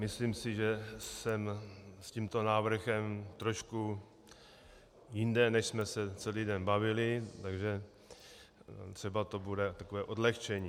Myslím si, že jsem s tímto návrhem trošku jinde, než jsme se celý den bavili, takže třeba to bude takové odlehčení.